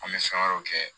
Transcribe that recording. An bɛ fɛn wɛrɛw kɛ